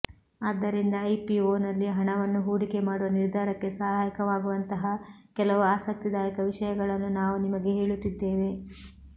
ಆದ್ದರಿಂದ ಐಪಿಒನಲ್ಲಿ ಹಣವನ್ನು ಹೂಡಿಕೆ ಮಾಡುವ ನಿರ್ಧಾರಕ್ಕೆ ಸಹಾಯಕವಾಗುವಂತಹ ಕೆಲವು ಆಸಕ್ತಿದಾಯಕ ವಿಷಯಗಳನ್ನು ನಾವು ನಿಮಗೆ ಹೇಳುತ್ತಿದ್ದೇವೆ